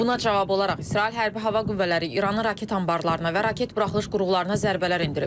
Buna cavab olaraq İsrail Hərbi Hava Qüvvələri İranın raket anbarlarına və raket buraxılış qurğularına zərbələr endirib.